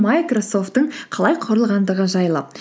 майкрасофттың қалай құрылғандығы жайлы